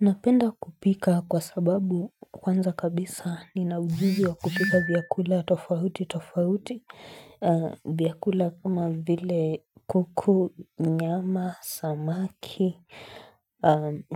Napenda kupika kwa sababu kwanza kabisa nina ujuzi wa kupika vyakula tofauti, tofauti, vyakula kuma vile kuku, nyama, samaki,